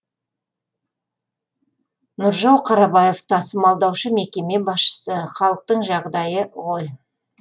нұржау қарабаев тасымалдаушы мекеме басшысы халықтың жағдайы ғой